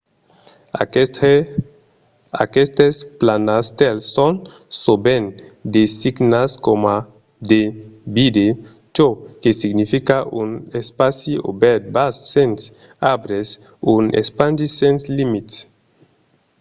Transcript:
aquestes planastèls son sovent designats coma de vidde çò que significa un espaci obèrt vast sens arbres un espandi sens limits